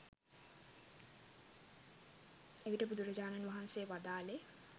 එවිට බුදුරජාණන් වහන්සේ වදාළේ